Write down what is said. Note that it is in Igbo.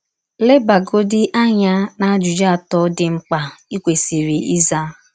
Lebagọdị anya n’ajụjụ atọ dị mkpa i kwesịrị ịza.